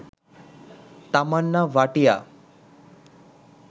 Tamannaah Bhatia